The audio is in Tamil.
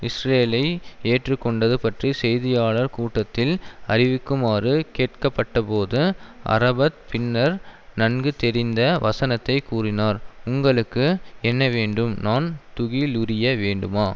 இஸ்ரேலை ஏற்று கொண்டது பற்றி செய்தியாளர் கூட்டத்தில் அறிவிக்குமாறு கேட்கப்பட்டபோது அரபத் பின்னர் நன்கு தெரிந்த வசனத்தை கூறினார் உங்களுக்கு என்ன வேண்டும் நான் துகிலுரிய வேண்டுமா